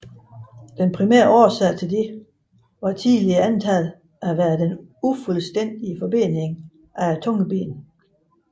Den primære årsag til dette var tidligere antaget at være den ufuldstændige forbening af tungebenet